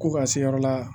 Ko ka se yɔrɔ la